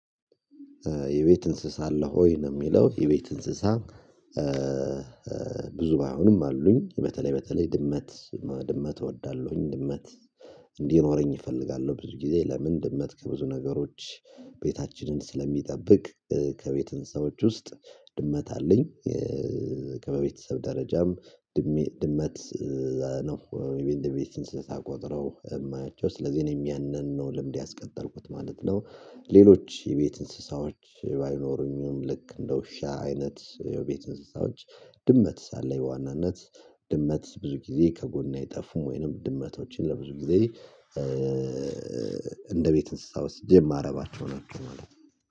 የቤት እንስሳ አለህ ወይ ነው የሚለው የቤት እንስሳ? ብዙ ባይሆኑም አሉኝ በተለይ በተለይ ድመት ድመት እወዳለሁ ድመት እንዲኖረኝ እፈልጋለሁ። ብዙ ጊዜ ለምን ድመት ከብዙ ነገሮች። ቤታችንን ስለሚጠብቅ ከቤት እንስሳወች ውስጥ ድመት አለኝ። ከበቤተሰብ ደረጃም ድመት ነው እንደ ቤት እንስሳ ቆጥረው የማያቸው ስለዚህ እኔም ያንን ነው ልምድ ያስቀጠልኩት ማለት ነው። ሌሎች የቤት እንስሳዎች ባይኖሩኝም ልክ እንደ ውሻ አይነት የቤት እንስሳዎች ድመት አለኝ በዋናነት። ድመት ብዙ ጊዜ ከጎን አይጠፉም ወይንም ድመቶችን ለብዙ ጊዜ። እንደ ቤት እንስሳ ወስጀ ማረባቸው ናቸው